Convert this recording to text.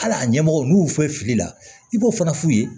Hal'a ɲɛmɔgɔ n'u y'u fɔ fili la i b'o fana f'u ye